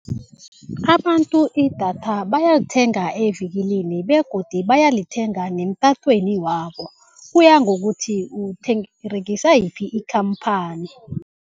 Abantu idatha bayalithenga evikilini begodu bayalithenga neemtatweni wabo kuya ngokuthi uberegisa yiphi ikhamphani.